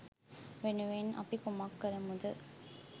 වෙනුවෙන් අපි කුමක්‌ කරමුද?